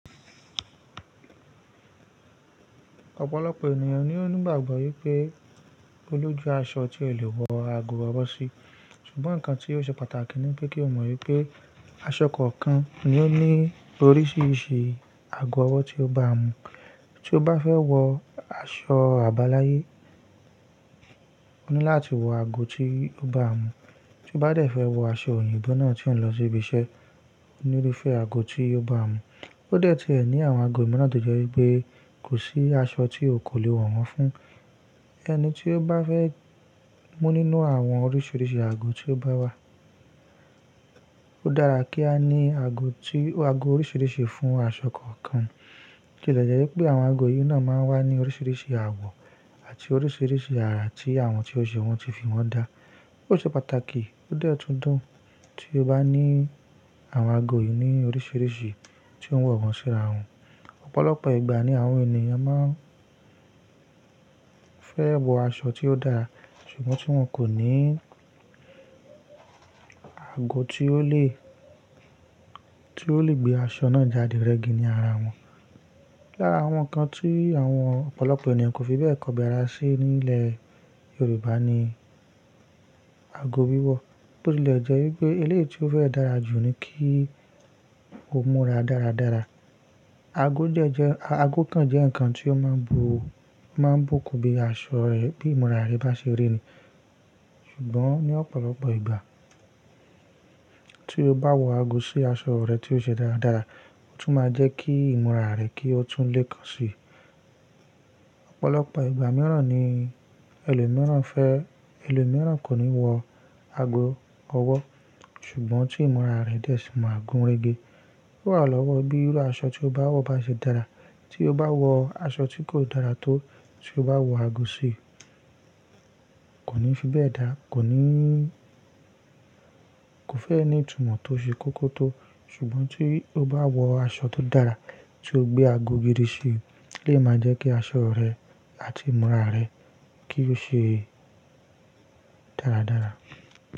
Ọ̀pọ̀lọpọ̀ ènìyàn ni ó ní ìgbàgbọ́ wípé olójú aṣọ ti olè wọ ago ọwọ́ sí. Ṣùgbọ́n ǹkan tí ò ṣe pàtàkì ni pé kí o mọ̀ wípé aṣọ kọ̀ọ̀kan ni ó ní oríṣiríṣi ago ọwọ́ tí ó bá mu. Tí o bá fẹ́ wọ aṣọ àbáláyé, o ní láti wọ ago tí ó bá mu. Tí o bá dẹ̀ fẹ́ wọ aṣọ oyinbo náa tí ò ń lọ síbi iṣẹ́, o ní irufẹ́ àgo tí o bá mu. Ó dẹ́ tí ẹ ní àwọn ago miran, tòje wípé kò sí aṣọ tí o kò lè wọ̀ wọ́n fún. Ẹni tí ó bá fẹ́ mú nínú àwọn oríṣiríṣi ago tí ó bá wà, ó dára kí a ní ago tí, ago oríṣiríṣi fún aṣọ kọ̀ọ̀kan. Bo tìlẹ̀ jẹ́ wípé àwọn ago yìí náà máa ń wá ní oríṣiríṣi àwọ̀ àti oríṣiríṣi àrà tí àwọn tí o ṣe wọ́n ti fi wọ́n dá. Ó ṣe pàtàkì ó dẹ́tùndún tí o bá ní àwọn ago yìí ní oríṣiríṣi tí ó ń wọ̀ wọ́n síra wọn. Ọ̀pọ̀lọpọ̀ ìgbà ni àwọn ènìyàn máa ń fẹ́ wọ aṣọ tí ó dára ṣùgbọ́n tí wọ́n kò ní ago tí ó lè, tí ó lè gbé aṣọ náà jáde rẹ́gí ní ara wọn. Lára àwọn ǹkan tí àwọn ọ̀pọ̀lọpọ̀ ènìyàn kò fi bẹ́ẹ̀ kọbi ara sí nílẹ̀ Yorùbá ni ago wíwọ̀. Bó tilẹ̀ jẹ́ wípé eléyìí tí ó fẹ́ dára jù ni kí ó múra dáradára. Ago dẹ́ jẹ́, ago kan jẹ́ ǹkan tí ó máa ń bu, o máa ń bùkún bí aṣọ rẹ, bí ìmúra rẹ bá ṣe rí ni. Ṣùgbọ́n ní ọ̀pọ̀lọpọ̀ ìgbà tí o bá wọ ago sí aṣọ rẹ tí ó ṣe dáradára, ó tún máa jẹ́ kí ìmúra rẹ kí ó tún lè kan si. Ọ̀pọ̀lọpọ̀ ìgbà mìíràn ni ẹlòmíràn fẹ́, ẹlòmíràn kò ní wọ ago ọwọ́, ṣùgbọ́n tí ìmúra rẹ dẹ̀ sì máa gúnrégé. Ó wa lọ́wọ́ bí irú aṣọ tí o bá wọ bá ṣe dára. Tí o bá wọ aṣọ tí kò dára tó, tí o bá wọ ago sí, kò ní fi bẹ́ẹ̀ dáa, kò ní, kò fẹ́e ni itúmọ̀ tó ṣe kókó tó. Ṣùgbọ́n tí o bá wọ aṣọ tó dára tí o gbé ago gidi sí, olè máa jẹ́ kí aṣọ rẹ àti ìmúra rẹ kí ó ṣe dáradára.